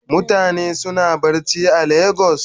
Mutane suna barci a lagos?